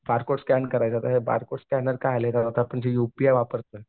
barcode scan करायचा आता barcode scanner जे युपीआय वापरतं